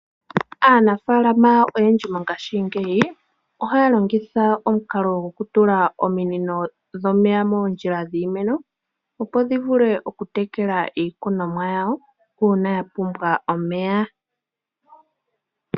Aanafaalama oyendji mongashingeyi ohaya longitha omukalo gokutula oominino dhomeya moofoola dhiimeno, opo dhi vule okutekela iikunomwa yawo uuna ya pumbwa omeya.